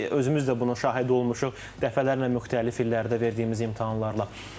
Özümüz də bunun şahidi olmuşuq, dəfələrlə müxtəlif illərdə verdiyimiz imtahanlarla.